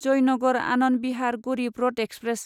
Jaynagar Anand Vihar Garib Rath express